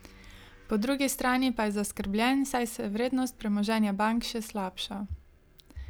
Po drugi strani pa je zaskrbljen, saj se vrednost premoženja bank še slabša.